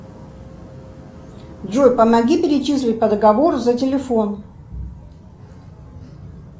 джой помоги перечислить по договору за телефон